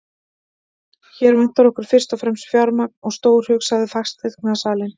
Hér vantar okkur fyrst og fremst fjármagn og stórhug, sagði fasteignasalinn.